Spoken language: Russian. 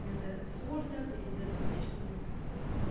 надо с ворда переделать табличку на эксель